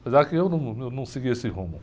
Apesar que eu num, eu não segui esse rumo.